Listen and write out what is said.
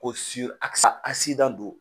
Ko don